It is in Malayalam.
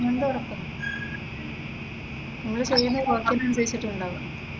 പ്ലേസ്മെന്റ് ഉറപ്പാ, നമ്മള് ചെയ്യുന്ന ജോബിന് അനുസരിച്ചിട്ടാ ഉണ്ടാവുക.